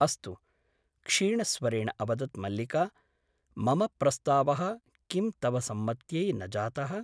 अस्तु क्षीणस्वरेण अवदत् मल्लिका । मम प्रस्तावः किं तव सम्मत्यै न जातः ?